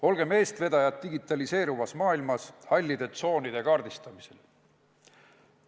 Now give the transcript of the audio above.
Olgem eestvedajad digitaliseeruvas maailmas hallide tsoonide kaardistamisel!